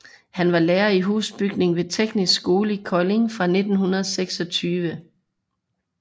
Han var lærer i husbygning ved Teknisk Skole i Kolding fra 1926